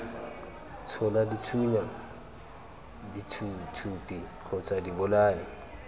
tshola dithunya dithuthupi kgotsa dibolai